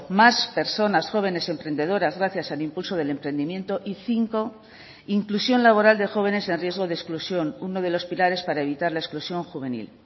más personas jóvenes emprendedoras gracias al impulso del emprendimiento y cinco inclusión laboral de jóvenes en riesgo de exclusión uno de los pilares para evitar la exclusión juvenil